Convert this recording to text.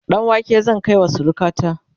ɗanwake zan kaiwa surukata